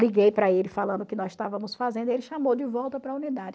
Liguei para ele falando o que nós estávamos fazendo e ele chamou de volta para a unidade.